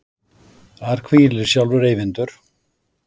Þar hvílir sjálfur Eyvindur.